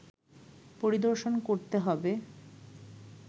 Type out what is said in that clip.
পরিদর্শন করতে হবে